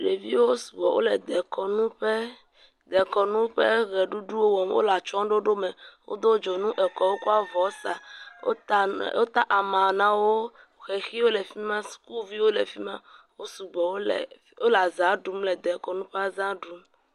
Ɖeviwo sugbɔ. Wole dekɔnu ƒe, dekɔnu ƒe ʋeɖuɖuwo wɔm. Wole atsyɔ̃ɖoɖo me. Wode dzonu ekɔ. Wokɔ avɔ sa. Wota ama, wota ama na wo. Xexiwo le fi ma. Sukuviwo le fi ma. Wo sugbɔ, wole, wole azãa ɖum, le dekɔnu ƒe azã ɖum.